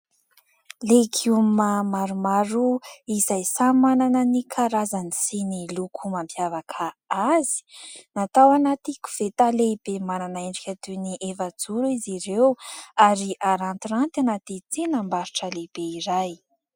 Legioma maromaro izay samy manana ny karazany sy ny loko mampiavaka azy, natao anaty koveta lehibe manana endrika toy ny efa-joro izy ireo ary arantiranty anaty tsenam-barotra lehibe iray.